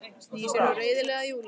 Snýr sér svo reiðilega að Júlíu.